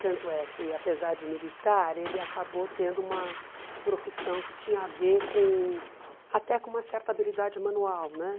Tanto é que, apesar de militar, ele acabou tendo uma profissão que tinha a ver com, até com uma certa habilidade manual, né?